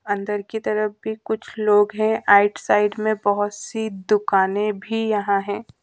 अंदर की तरफ भी कुछ लोग हैं आइड साइड में बहुत सी दुकाने भी यहां है।